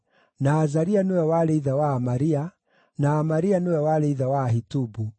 na Azaria nĩwe warĩ ithe wa Amaria, na Amaria nĩwe warĩ ithe wa Ahitubu,